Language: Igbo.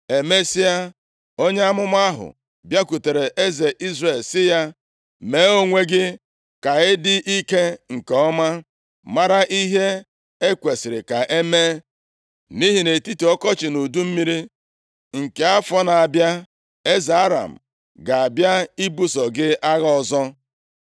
Emesịa, onye amụma ahụ bịakwutere eze Izrel sị ya, “Mee onwe gị ka ị dị ike nke ọma, mara ihe e kwesiri ka e mee, nʼihi nʼetiti ọkọchị na udu mmiri nke afọ nʼabịa, eze Aram ga-abịa ibuso gị agha ọzọ.”